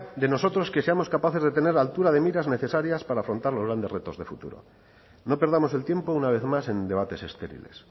de nosotros que seamos capaces de tener altura de miras necesarias para afrontar los grandes retos de futuro no perdamos el tiempo una vez más en debates estériles